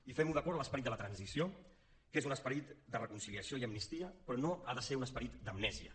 i fem ho d’acord amb l’esperit de la transició que és un esperit de reconciliació i amnistia però no ha de ser un esperit d’amnèsia